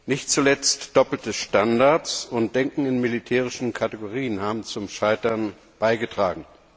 Nicht zuletzt haben doppelte Standards und das Denken in militärischen Kategorien zum Scheitern beigetragen.